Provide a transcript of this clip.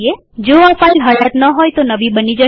જો આ ફાઈલ હયાત ન હોય તો નવી બની જશે